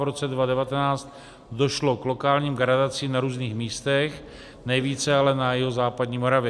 V roce 2019 došlo k lokálním gradacím na různých místech, nejvíce ale na jihozápadní Moravě.